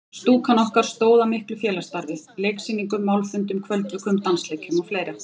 Stúkan okkar stóð að miklu félagsstarfi: Leiksýningum, málfundum, kvöldvökum, dansleikjum og fleira.